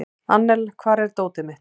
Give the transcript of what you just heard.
Annel, hvar er dótið mitt?